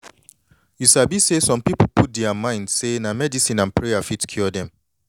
you sabi say some pipu put dea mind say na medicine and prayer fit cure dem